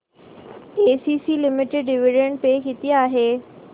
ACC limited dividend pay किती आहे